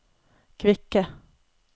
kvikke